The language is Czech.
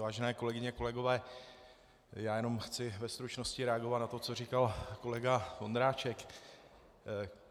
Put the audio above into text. Vážené kolegyně, kolegové, já jenom chci ve stručnosti reagovat na to, co říkal kolega Vondráček.